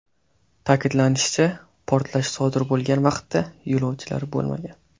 Ta’kidlanishicha, portlash sodir bo‘lgan vaqtda yo‘lovchilar bo‘lmagan.